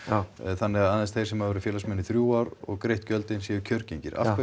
þannig að aðeins þeir sem hafa verið félagsmenn í þrjú ár og greitt gjöldin séu kjörgengir